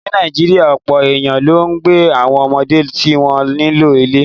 Ní Nàìjíríà, ọ̀pọ̀ èèyàn ló ń gba àwọn ọmọdé tí wọ́n nílò ilé